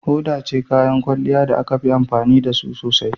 Hoda ita ce kayan kwalliya da ake amfani da su sosai.